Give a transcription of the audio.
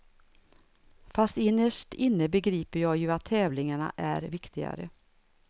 Fast innerst inne begriper jag ju att tävlingarna är viktigare.